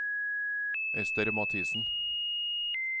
Ester Mathisen